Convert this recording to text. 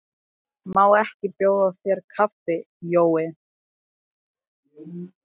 Má ekki bjóða þér kaffi, Jói?